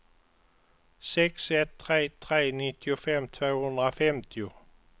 sex ett tre tre nittiofem tvåhundrafemtio